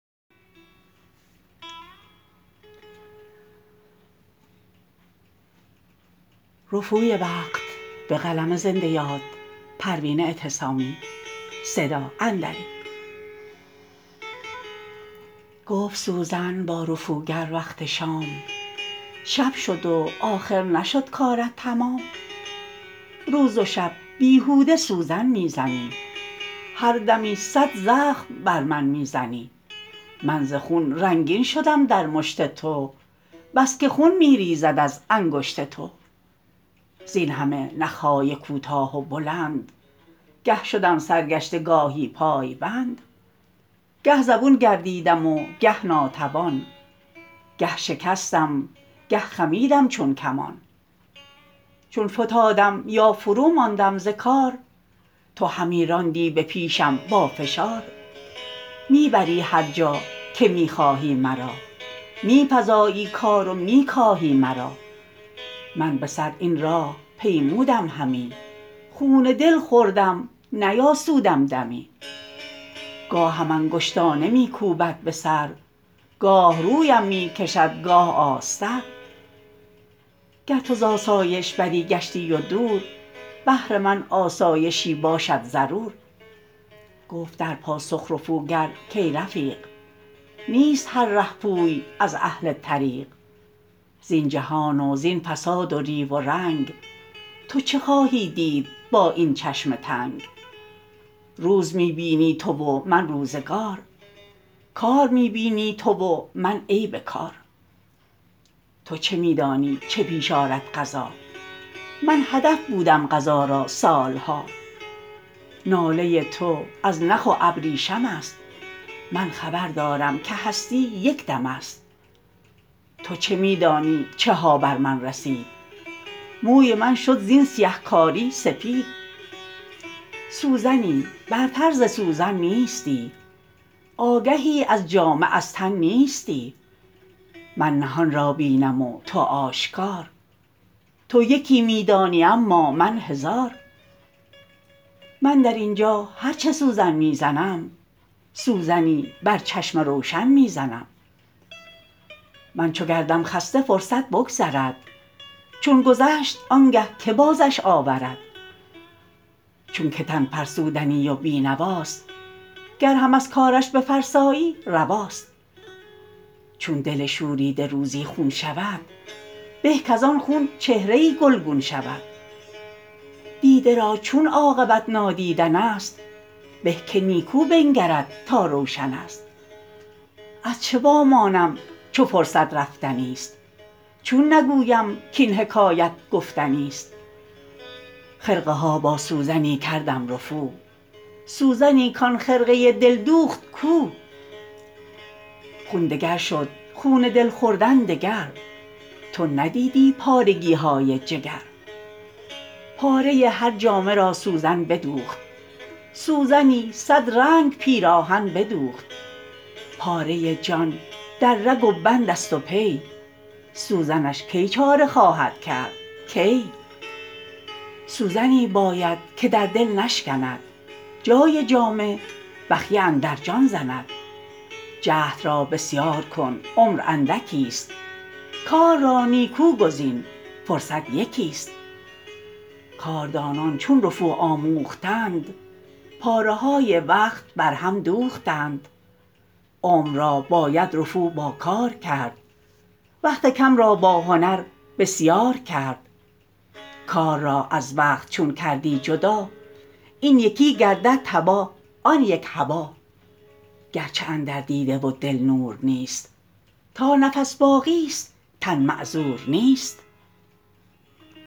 گفت سوزن با رفوگر وقت شام شب شد و آخر نشد کارت تمام روز و شب بیهوده سوزن میزنی هر دمی صد زخم بر من میزنی من ز خون رنگین شدم در مشت تو بسکه خون میریزد از انگشت تو زینهمه نخهای کوتاه و بلند گه شدم سرگشته گاهی پایبند گه زبون گردیدم و گه ناتوان گه شکستم گه خمیدم چون کمان چون فتادم یا فروماندم ز کار تو همی راندی به پیشم با فشار میبری هر جا که میخواهی مرا میفزایی کار و میکاهی مرا من بسر این راه پیمودم همی خون دل خوردم نیاسودم دمی گاهم انگشتانه میکوبد بسر گاه رویم میکشد گاه آستر گر تو زاسایش بری گشتی و دور بهر من آسایشی باشد ضرور گفت در پاسخ رفوگر کای رفیق نیست هر رهپوی از اهل طریق زین جهان و زین فساد و ریو و رنگ تو چه خواهی دید با این چشم تنگ روز می بینی تو و من روزگار کار می بینی تو و من عیب کار تو چه میدانی چه پیش آرد قضا من هدف بودم قضا را سالها ناله تو از نخ و ابریشم است من خبردارم که هستی یکدم است تو چه میدانی چها بر من رسید موی من شد زین سیهکاری سفید سوزنی برتر ز سوزن نیستی آگهی از جامه از تن نیستی من نهان را بینم و تو آشکار تو یکی میدانی اما من هزار من درینجا هر چه سوزن میزنم سوزنی بر چشم روشن می زنم من چو گردم خسته فرصت بگذرد چون گذشت آنگه که بازش آورد چونکه تن فرسودنی و بینواست گر هم از کارش بفرسایی رواست چون دل شوریده روزی خون شود به کاز آن خون چهره ای گلگون شود دیده را چون عاقبت نادیدن است به که نیکو بنگرد تا روشن است از چه وامانم چو فرصت رفتنی است چون نگویم کاین حکایت گفتنی است خرقه ها با سوزنی کردم رفو سوزنی کن خرقه دل دوخت کو خون دگر شد خون دل خوردن دگر تو ندیدی پارگیهای جگر پاره هر جامه را سوزن بدوخت سوزنی صد رنگ پیراهن بدوخت پاره جان در رگ و بند است و پی سوزنش کی چاره خواهد کرد کی سوزنی باید که در دل نشکند جای جامه بخیه اندر جان زند جهد را بسیار کن عمر اندکی است کار را نیکو گزین فرصت یکی است کاردانان چون رفو آموختند پاره های وقت بر هم دوختند عمر را باید رفو با کار کرد وقت کم را با هنر بسیار کرد کار را از وقت چون کردی جدا این یکی گردد تباه آن یک هبا گرچه اندر دیده و دل نور نیست تا نفس باقی است تن معذور نیست